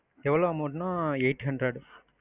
எவளோ amount னா eight hundred.